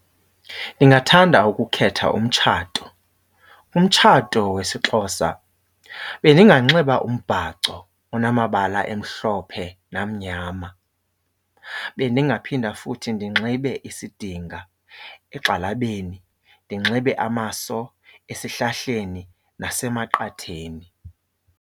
Ndingathanda ukukhetha umtshato. Umtshato wesiXhosa bendinganxiba umbhaco onamabala emhlophe namnyama. Bendingaphinda futhi ndinxibe isidinga egxalabeni, ndinxibe amaso esihlahleni nasemaqatheni.